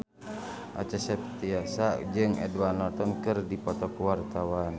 Acha Septriasa jeung Edward Norton keur dipoto ku wartawan